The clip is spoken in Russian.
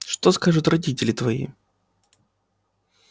что скажут родители твои